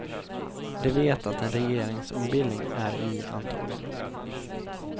De vet att en regeringsombildning är i antågande.